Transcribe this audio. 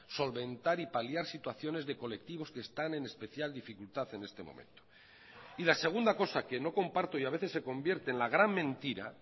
solventar y paliar situaciones de colectivos que están en especial dificultad en este momento y la segunda cosa que no comparto y a veces se convierte en la gran mentira